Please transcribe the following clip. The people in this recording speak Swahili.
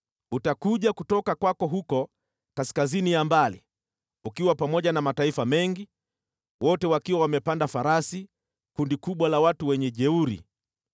Utakuja kutoka kwako huko kaskazini ya mbali, ukiwa pamoja na mataifa mengi, wote wakiwa wamepanda farasi, kundi kubwa, jeshi kuu.